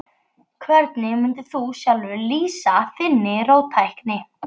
Hvernig mundir þú sjálfur lýsa þinni róttækni?